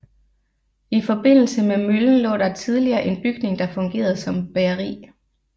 I forbindelse med møllen lå der tidligere en bygning der fungerede som bageri